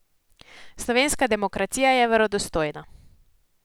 Slovenska demokracija je verodostojna.